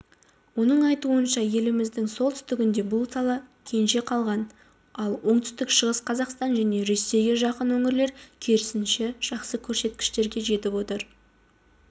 оның айтуынша еліміздің солтүстігінде бұл сала кенже қалған ал оңтүстік шығыс қазақстан және ресейге жақын өңірлер керісінше жақсы көрсеткіштерге жетіп отыр